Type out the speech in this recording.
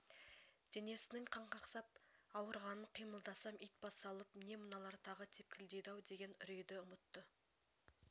денесінің қанқақсап ауырғанын қимылдасам ит бассалып не мыналар тағы тепкілейді-ау деген үрейді ұмытты